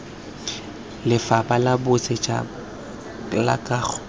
lefapha la bosetšhaba la kago